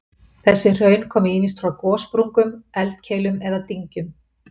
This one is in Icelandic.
Þessi hraun komu ýmist frá gossprungum, eldkeilum eða dyngjum.